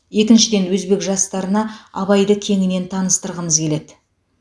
екіншіден өзбек жастарына абайды кеңінен таныстырғымыз келеді